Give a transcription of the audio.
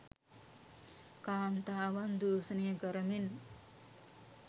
කාන්තාවන් දූෂණය කරමින්